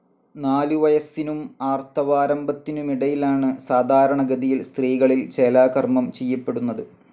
നാലുവയസ്സിനും ആർത്തവാരംഭത്തിനുമിടയിലാണ് സാധാരണഗതിയിൽ സ്ത്രീകളിൽ ചേലാകർമ്മം ചെയ്യപ്പെടുന്നത്.